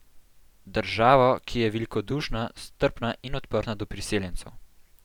Državo, ki je velikodušna, strpna in odprta do priseljencev.